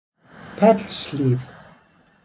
Fellshlíð